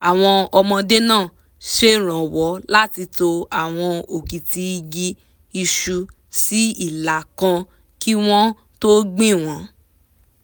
àwọn ọmọdé náà ṣèrànwọ́ láti to àwọn òkìtì igi isu sí ìlà kan kí wọ́n tó gbìn wọ́n